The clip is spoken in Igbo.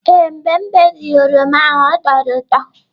Ee, mgbe m berịe oroma ahụ ọ tọrọ ụtọ.